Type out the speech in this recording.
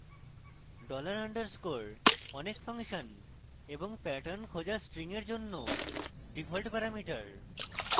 $_ dollar underscore : অনেক function এবং pattern খোঁজা strings এর জন্য ডিফল্ট প্যারামিটার